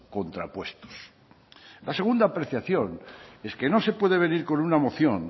contrapuestos la segunda apreciación es que no se puede venir con una moción